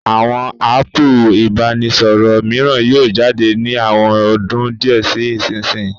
Àwọn áàpù ìbánisọ̀rọ̀ mìíràn yóò jáde ní àwọn ọdún díẹ̀ sí ìsinyii